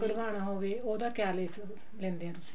ਕਢਵਾਉਣਾ ਹੋਵੇ ਉਹਦਾ ਕਿਆ ਲੈਂਦੇ ਹੋ ਤੁਸੀਂ